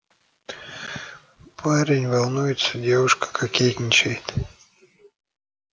парень волнуется девушка кокетничает